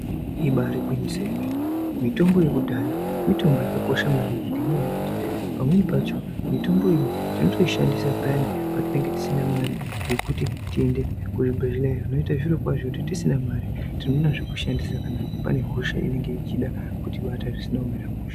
Ibari gwinyiso remene mitombo yekudhaya mitombo yakakosha maningi ngenda yekuti pamweni pacho mitombo iyi tinoishandisa payani tisina Mari yekuti tiende kuzvibhedhlera zvinoita zviro kwazvo kuti tisina mare tinoona zvekushandisa kuti hosha ichida kutibata zvisina kumira mushe.